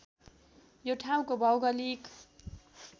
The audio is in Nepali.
यो ठाउँको भौगोलिक